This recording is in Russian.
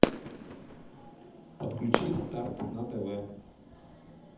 подключи старт на тв